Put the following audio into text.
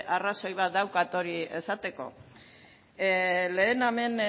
arrazoi bat daukat esateko lehen hemen